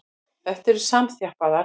Þær eru samþjappaðar.